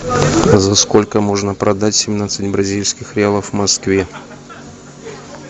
за сколько можно продать семнадцать бразильских реалов в москве